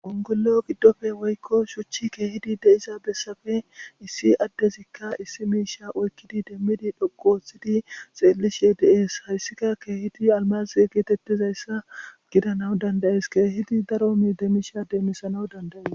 gongollo giddofe woykko shuchchi keehidi de7isa bessafe issi addezikka issi miisha oykkidi demmidi dhoqooththidi xeellishe de7ees hayssika keehidi almazie geetettizayssa gidanaw dandayes keehidi daro mi demmisha deemmisanaw dandayes